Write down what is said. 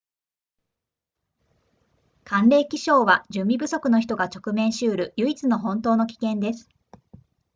寒冷気象は準備不足の人が直面しうる唯一の本当の危険です